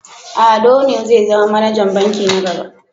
Ado ne zai zama manajan banki na gaba.